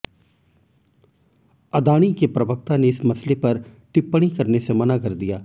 अदाणी के प्रवक्ता ने इस मसले पर टिप्पणी करने से मना कर दिया